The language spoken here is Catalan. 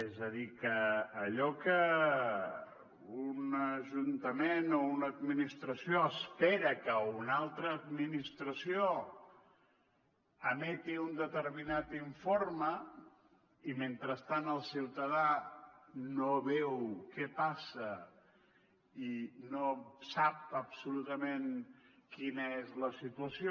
és a dir que allò que un ajuntament o una administració espera que una altra administració emeti un determinat informe i mentrestant el ciutadà no veu què passa i no sap absolutament quina és la situació